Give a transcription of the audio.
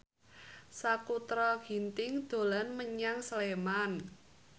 Sakutra Ginting dolan menyang Sleman